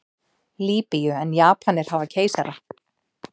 Lýbíu en Japanir hafa keisara.